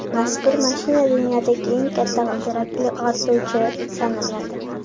Mazkur mashina dunyodagi eng katta g‘ildirakli ortuvchi sanaladi.